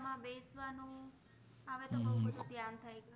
થાય છે